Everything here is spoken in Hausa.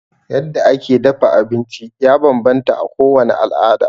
Yadda ake dafa abinci ya bambanta a kowane al'ada.